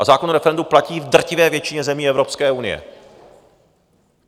A zákon o referendu platí v drtivé většině zemí Evropské unie.